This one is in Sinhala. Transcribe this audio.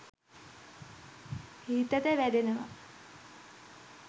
හිතට වැදෙනවා